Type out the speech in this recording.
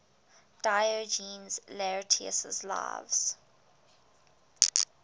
diogenes laertius's lives